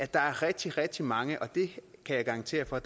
der er rigtig rigtig mange og det kan jeg garantere for